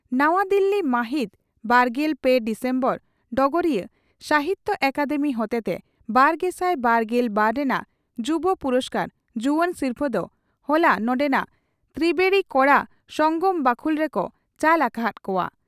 ᱱᱟᱣᱟ ᱫᱤᱞᱤ ᱢᱟᱦᱤᱛ ᱵᱟᱨᱜᱮᱞ ᱯᱮ ᱰᱤᱥᱮᱢᱵᱚᱨ (ᱰᱚᱜᱚᱨᱤᱭᱟᱹ) ᱺ ᱥᱟᱦᱤᱛᱭᱚ ᱟᱠᱟᱫᱮᱢᱤ ᱦᱚᱛᱮᱛᱮ ᱵᱟᱨᱜᱮᱥᱟᱭ ᱵᱟᱨᱜᱮᱞ ᱵᱟᱨ ᱨᱮᱱᱟᱜ ᱭᱩᱵᱚ ᱯᱩᱨᱚᱥᱠᱟᱨ (ᱡᱩᱣᱟᱹᱱ ᱥᱤᱨᱯᱷᱟᱹ) ᱫᱚ ᱦᱚᱞᱟ ᱱᱚᱸᱰᱮᱱᱟᱜ ᱛᱨᱤᱵᱮᱬᱤ ᱠᱚᱲᱟ ᱥᱚᱝᱜᱚᱢ ᱵᱟᱹᱠᱷᱩᱞ ᱨᱮᱠᱚ ᱪᱟᱞ ᱟᱠᱟ ᱦᱟᱫ ᱠᱚᱜᱼᱟ ᱾